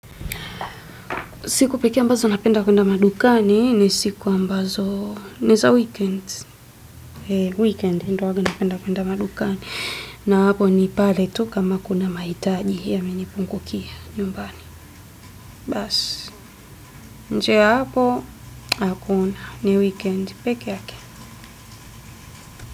Siku pekee ambazo napenda kwenda madukani ni siku ambazo ni za weekends. Eh weekends ndo huwaga napenda kwenda madukani. Na hapo ni pale tu kama kuna mahitaji yamenipungukia nyumbani. Baas. Nje ya hapo hakuna ni weekend pekee yake.